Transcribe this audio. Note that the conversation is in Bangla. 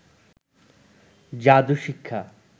যাদু শিক্ষা